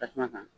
Tasuma kan